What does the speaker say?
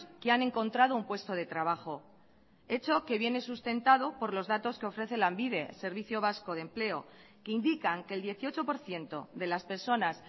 que han encontrado un puesto de trabajo hecho que viene sustentado por los datos que ofrece lanbide servicio vasco de empleo que indican que el dieciocho por ciento de las personas